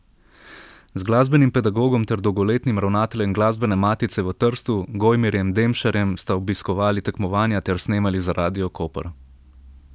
Z glasbenim pedagogom ter dolgoletnim ravnateljem Glasbene matice v Trstu, Gojmirjem Demšarjem sta obiskovali tekmovanja ter snemali za Radio Koper.